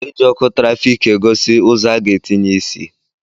E ji ọkụ tịrafiki egosi ụzọ a ga-etinye isi